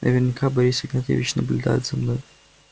наверняка борис игнатьевич наблюдает за мной